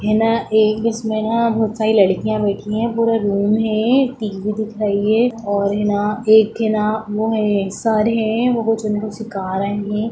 है ना एक इसमें न बहुत सारी लड़कियां बैठी है पूरा रूम है टी_वी दिख रही है और है न एक है न वो है सर है वो है उनको सीखा रहे है।